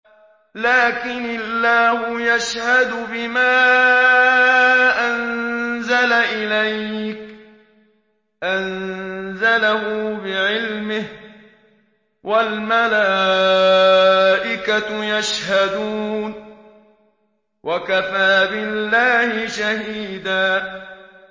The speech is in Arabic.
لَّٰكِنِ اللَّهُ يَشْهَدُ بِمَا أَنزَلَ إِلَيْكَ ۖ أَنزَلَهُ بِعِلْمِهِ ۖ وَالْمَلَائِكَةُ يَشْهَدُونَ ۚ وَكَفَىٰ بِاللَّهِ شَهِيدًا